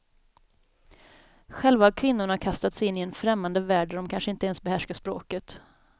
Själva har kvinnorna kastats in i en främmande värld där de kanske inte ens behärskar språket.